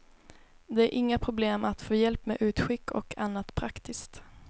Det är inga problem att få hjälp med utskick och annat praktiskt.